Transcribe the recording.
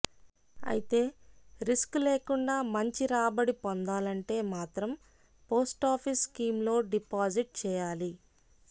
అయితే రిస్క్ లేకుండా మంచి రాబడి పొందాలంటే మాత్రం పోస్టాఫీస్ స్కీమ్లో డిపాజిట్ చేయాలి